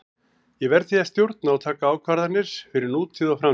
Ég verð því að stjórna og taka ákvarðanir fyrir nútíð og framtíð.